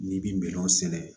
N'i bi minɛnw sɛnɛ